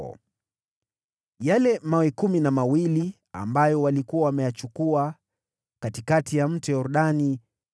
Naye Yoshua akayasimamisha huko Gilgali yale mawe kumi na mawili ambayo walikuwa wameyachukua katikati ya Mto Yordani.